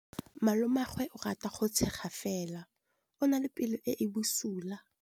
Malomagwe o rata go tshega fela o na le pelo e e bosula.